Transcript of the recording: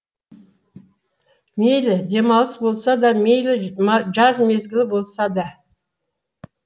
мейлі демалыс болса да мейлі жаз мезгілі болса да